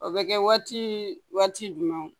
O bɛ kɛ waati jumɛnw